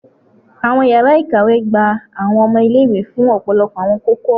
Awọn yara ikawe gba awọn ọmọ ile-iwe fun ọpọlọpọ awọn koko-ọrọ